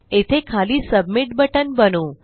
येथे खाली submit button बनवू